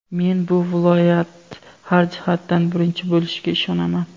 Men bu viloyat har jihatdan birinchi bo‘lishiga ishonaman.